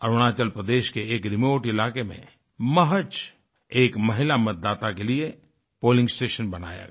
अरुणाचल प्रदेश के एक रिमोट इलाके में महज एक महिला मतदाता के लिए पोलिंग स्टेशन बनाया गया